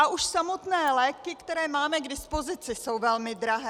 A už samotné léky, které máme k dispozici, jsou velmi drahé.